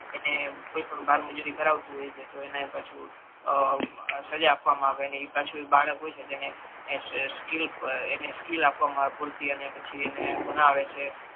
એને બારમુ જારી કરાવતુ હોય તો એને પાછુ અ બ સજા આપવામા આવે અને એ પાછુ બાળક હોય છે એને એ સ્કિલ સ્કિલ આપવામા આવે પૂરતી અને પછી એને ભણાવે છે.